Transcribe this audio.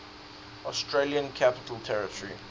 australian capital territory